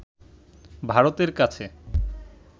ভারতের কাছে